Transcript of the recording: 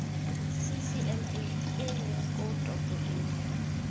ccma eleng koo topo eo